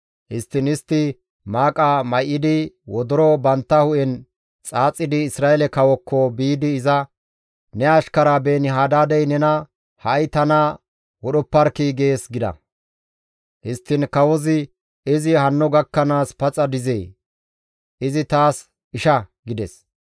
Histtiin istti maaqa may7idi, wodoro bantta hu7en xaaxidi, Isra7eele kawookko biidi iza, «Ne ashkara Beeni-Hadaadey nena, ‹Ha7i tana wodhopparkkii› gees» gida. Histtiin kawozi, «Izi hanno gakkanaas paxa dizee? Izi taas isha» gides.